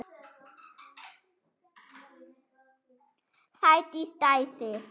Sædís dæsir.